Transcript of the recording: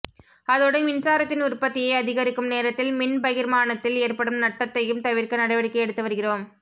அதோடு மின்சாரத்தின் உற்பத்தியை அதிகரிக்கும் நேரத்தில் மின் பகிர்மானத்தில் ஏற்படும் நட்டத்தையும் தவிர்க்க நடவடிக்கை எடுத்து வருகிறோம்